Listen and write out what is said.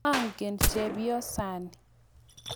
Angen chepyosani.